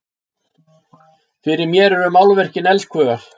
Fyrir mér eru málverkin elskhugar!